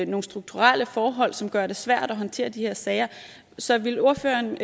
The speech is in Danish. nogle strukturelle forhold som gør det svært at håndtere de her sager så vil ordføreren